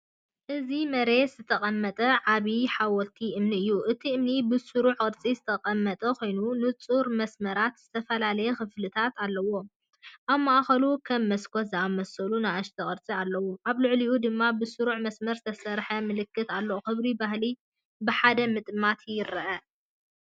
ኣብ መሬት ዝተቐመጠ ዓቢ ሓወልቲ እምኒ እዩ። እቲ እምኒ ብስሩዕ ቅርጺ ዝተቐመጠ ኮይኑ፡ ንጹር መስመራትን ዝተፈላለየ ክፍልታትን ኣለዎ። ኣብ ማእከሉ ከም መስኮት ዝኣመሰሉ ንኣሽቱ ቅርጽታት ኣለዉ፡ኣብ ልዕሊኡ ድማ ብስሩዕ መስመራት ዝተሰርሐ ምልክት ኣሎ። ክብሪ ባህሊ ብሓደ ምጥማት የርአ።